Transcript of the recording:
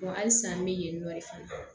halisa n bɛ yen nɔ fana